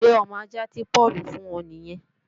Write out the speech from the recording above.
Ṣé ọmọ ajạ́ tí Páùlù fùn ọ nìyẹn?